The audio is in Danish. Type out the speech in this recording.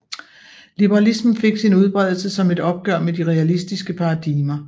Liberalismen fik sin udbredelse som et opgør med de realistiske paradigmer